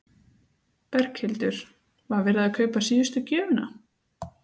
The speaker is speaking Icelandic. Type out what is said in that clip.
Berghildur: Var verið að kaupa síðustu gjöfina?